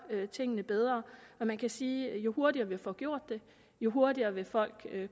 tingene bedre og man kan sige at jo hurtigere vi får gjort det jo hurtigere vil folk